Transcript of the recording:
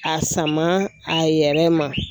A sama a yɛrɛ ma.